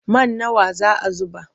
Man nawa za a zuba?